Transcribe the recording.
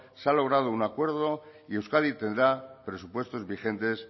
se ha logrado un acuerdo y euskadi tendrá presupuestos vigentes